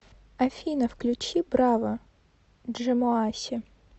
афина включи браво джэмоаси